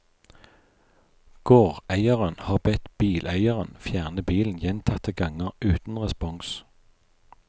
Gårdeieren har bedt bileieren fjerne bilen gjentatte ganger uten respons.